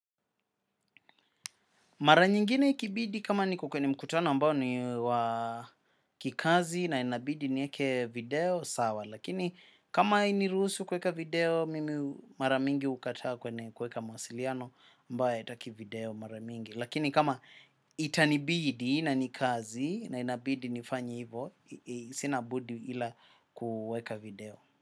Mara nyingine ikibidi kama niko kwenye mkutano ambao ni wa kikazi na inabidi niweke video sawa. Lakini kama hainiruhusu kuweka video, mimi mara mingi hukataa kwenye kuweka mawasiliano ambayo haitaki video mara mingi. Lakini kama itanibidi na ni kazi na inabidi nifanye hivo, sina budi ila kuweka video.